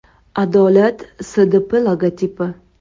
“Adolat” SDP logotipi.